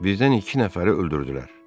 Bizdən iki nəfəri öldürdülər.